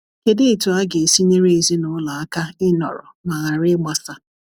kedụ etụ aga esi nyere ezinulo aka inọrọ ma ghara igbasa